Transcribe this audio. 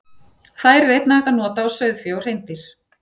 Þær er einnig hægt að nota á sauðfé og hreindýr.